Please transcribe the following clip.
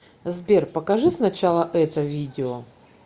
сбер покажи сначала это видео